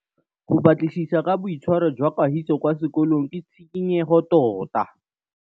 Go batlisisa ka boitshwaro jwa Kagiso kwa sekolong ke tshikinyêgô tota.